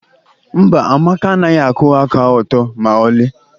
mba, Amaka anaghị akwụwa aka ọtọ ma ọlị